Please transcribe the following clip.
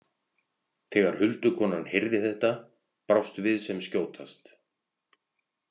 Þegar huldukonan heyrði þetta brást við sem skjótast.